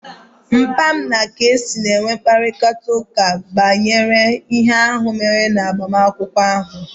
Papa m na kc na-enwe mkparịta ụka banyere ihe ahụ mere na agbamakwụkwọ ahụ